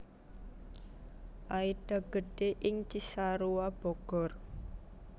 Aida gedhé ing Cisarua Bogor